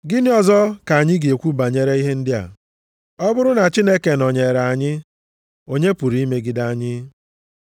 Gịnị ọzọ ka anyị ga-ekwu banyere ihe ndị a. Ọ bụrụ na Chineke nọnyere anyị, onye pụrụ imegide anyị?